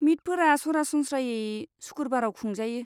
मिटफोरा सरासनस्रायै सुखुरबाराव खुंजायो।